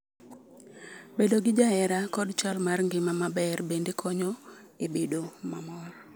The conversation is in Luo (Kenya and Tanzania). Bedo gi jahera kod chal mar ngima maber bende konyo e bedo mamor